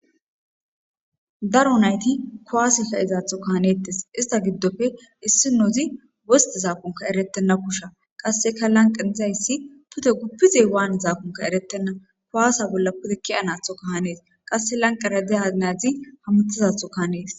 Daro nayti kuwaasa fe ezaatho kahanettes ista giddofe issi nozi wosti zaakonka eretenna kusha qasseka lanqa izayssi pute guppizey waan zaakonka eretenna kowaasa bolla putikkiya natho kahanees qasse lanqa rade ainadzi hamutizatho kahanees.